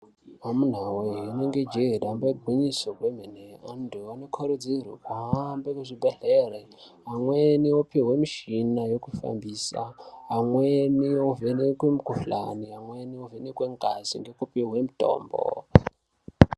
Amuna wee rinenge jee damba igwinyiso remene vantu vanokurudzirwa kuhambe muzvibhedhlere kumweni kunoopihwe mishina yekushandisa amweni ovenekwe mikuhlani, amweni ovhenekwe ngazi nekupuwa mitombo.